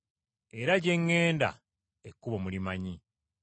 Era gye ŋŋenda ekkubo mulimanyi.”